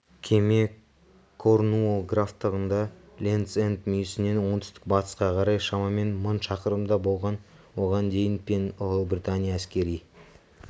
кеме корнуолл графтығында лендс-энд мүйісінен оңтүстік-батысқа қарай шамамен мың шақырымда болған оған дейін пен ұлыбритания әскери